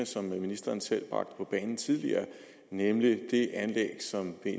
som ministeren selv bragte på bane tidligere nemlig det anlæg som er